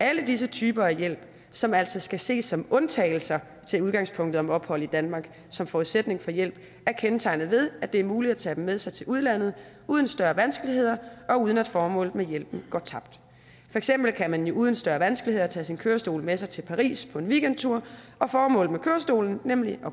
alle disse typer af hjælp som altså skal ses som undtagelser til udgangspunktet om ophold i danmark som forudsætning for hjælp er kendetegnet ved at det er muligt at tage dem med sig til udlandet uden større vanskeligheder og uden at formålet med hjælpen går tabt for eksempel kan man jo uden større vanskeligheder tage sin kørestol med sig til paris på en weekendtur og formålet med kørestolen nemlig at